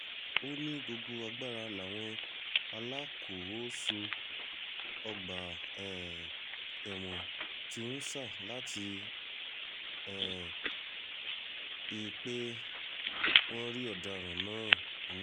ó ní gbogbo agbára làwọn alákòóso ọgbà um ẹ̀wọ̀n ti ń sà láti rí um i pé wọ́n rí ọ̀daràn náà mú